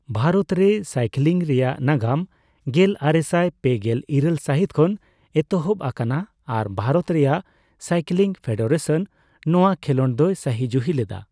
ᱵᱷᱟᱨᱚᱛᱨᱮ ᱥᱟᱭᱠᱞᱤᱝ ᱨᱮᱭᱟᱜ ᱱᱟᱜᱟᱢ ᱜᱮᱞᱟᱨᱮᱥᱟᱭ ᱯᱮᱜᱮᱞ ᱤᱨᱟᱹᱞ ᱥᱟᱦᱤᱛ ᱠᱷᱚᱱ ᱮᱛᱚᱦᱚᱵ ᱟᱠᱟᱱᱟ ᱟᱨ ᱵᱷᱟᱨᱚᱛ ᱨᱮᱭᱟᱜ ᱥᱟᱭᱠᱞᱤᱝ ᱯᱷᱮᱰᱟᱨᱮᱥᱚᱱ ᱱᱚᱣᱟ ᱠᱷᱮᱞᱳᱰ ᱫᱚᱭ ᱥᱟᱹᱦᱤᱡᱩᱦᱤ ᱞᱮᱫᱟ ᱾